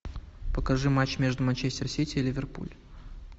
покажи матч между манчестер сити и ливерпуль